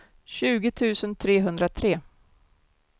tjugo tusen trehundratre